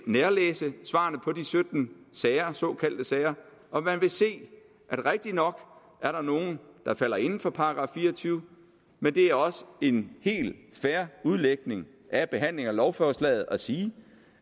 nærlæse svarene på de sytten såkaldte sager og man vil se at rigtig nok er der nogle der falder inden for § fire og tyve men det er også en helt fair udlægning af behandlingen af lovforslaget at sige